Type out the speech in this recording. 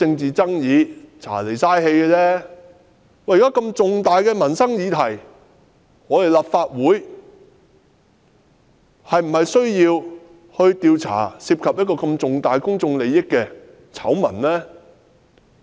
然而，這是重大的民生議題，立法會是否應調查這些涉及重大公眾利益的醜聞？